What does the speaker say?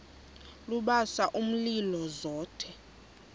lubasa umlilo zothe